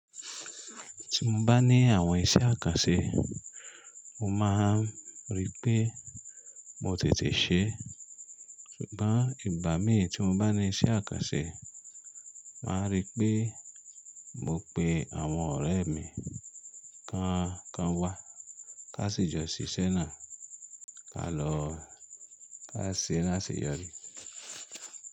Tí n bá ní àwọ́n iṣẹ́ àkànṣé, mó máa rí pé mò tètè ṣe é. Ṣùgbọ́n ìgbà mí tí mo bá ní iṣẹ́ àkànṣé, máa rí pé mo pe àwọn ọ̀rẹ́ mi kí wọ́n wá, ká sì jọ ṣiṣẹ́ náà, ká lọ ká ṣẹ́ e ká sì yọrí.